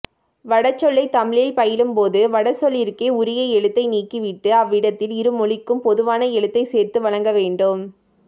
வடசொல்லைத் தமிழில் பயிலும்போது வடசொல்லிற்கே உரிய எழுத்தை நீக்கி விட்டு அவ்விடத்தில் இருமொழிக்கும் பொதுவான எழுத்தைச் சேர்த்து வழங்கவேண்டும்